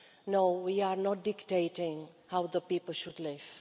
No, we are not dictating how the people should live.